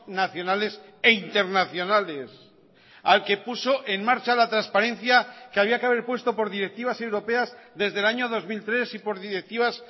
nacionales e internacionales al que puso en marcha la transparencia que había que haber puesto por directivas europeas desde el año dos mil tres y por directivas